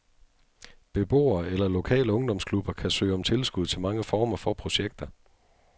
Beboere eller lokale ungdomsklubber kan søge om tilskud til mange former for projekter.